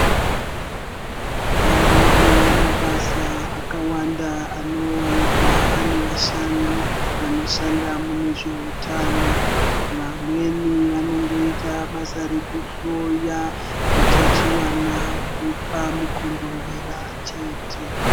Ariyo mabasa akawanda anowanikwa ane vashandi vanoshanda munezveutano. Vamweni vanongoita basa rekuhloya utachiwana hunopa mukondombera chete.